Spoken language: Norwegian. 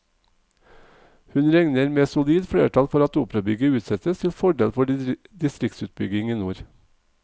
Hun regner med solid flertall for at operabygget utsettes til fordel for distriktsutbygging i nord.